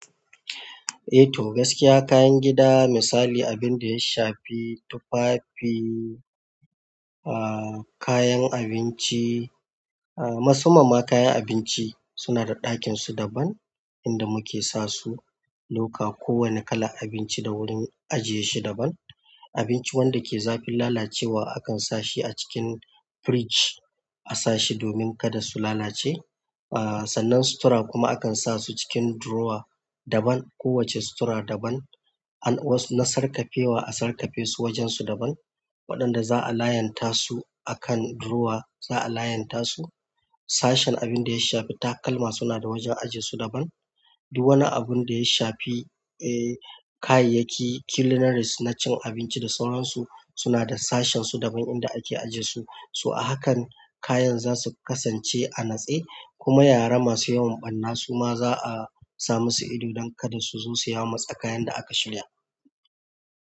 Eh to, gaskiya kayan gida misali abin da ya shafi tufafi, ahhh, kayan abinci, ahhh, masamman ma kayan abinci suna da ɗakin su daban inda muke sa su loka kowane kalan abinci da wurin ajiye shi daban. Abinci wanda ke zafin lalacewa akan sa shi a cikin fridge a sa shi domin kada su lalace. Ahhh, sannan sutura kuma akan sa su cikin drawer daban, kowacce sutura daban. An wasu na sarƙafe wa a sarƙafe su wajen su daban waɗanda za'a layanta su a kan drawer za'a layanta su. Sashen abinda ya shafi takalma suna da wajen ajiye su daban. Duk wani abun da ya shafi, eh, kayayyaki culinarys na cin abinci da sauran su suna da sashen su daban inda ake ajiye su. So a hakan kayan za su kasance a natse, kuma yara masu yawan ɓanna suma za'a sa masu ido dan kada su zo su yamutsa kayan da aka shirya.